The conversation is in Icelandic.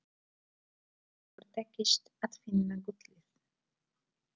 Engum hefur tekist að finna gullið.